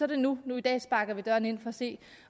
det nu nu i dag sparker vi døren ind for at se